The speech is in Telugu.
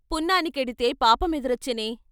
పున్నానికెడితే పాపమెదురొచ్చెనే?